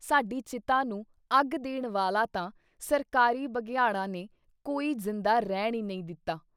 ਸਾਡੀ ਚਿਤਾ ਨੂੰ ਅੱਗ ਦੇਣ ਵਾਲਾ ਤਾਂ ਸਰਕਾਰੀ ਬਘਿਆੜਾਂ ਨੇ ਕੋਈ ਜਿੰਦਾ ਰਹਿਣ ਈ ਨਹੀਂ ਦਿੱਤਾ।